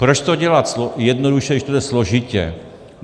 Proč to dělat jednoduše, když to jde složitě.